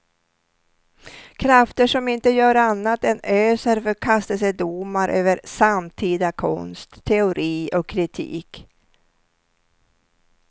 Krafter som inte gör annat än öser förkastelsedomar över samtida konst, teori och kritik.